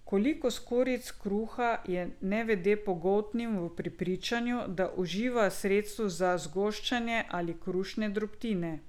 Koliko skorjic kruha je nevede pogoltnila v prepričanju, da uživa sredstvo za zgoščanje ali krušne drobtine?